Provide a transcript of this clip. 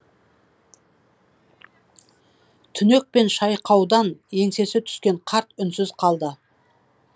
түнек пен шайқаудан еңсесі түскен қарт үнсіз қалды